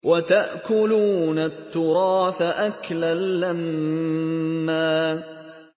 وَتَأْكُلُونَ التُّرَاثَ أَكْلًا لَّمًّا